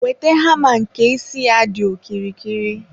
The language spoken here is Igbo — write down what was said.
wete hama nke isi ya dị okirikiri.